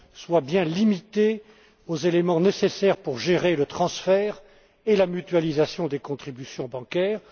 soit bien limité aux éléments nécessaires pour gérer le transfert et la mutualisation des contributions bancaires.